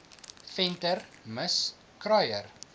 venter mis kruier